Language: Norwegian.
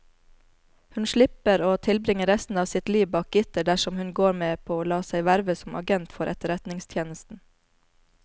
Hun slipper å tilbringe resten av sitt liv bak gitter dersom hun går med på å la seg verve som agent for etterretningstjenesten.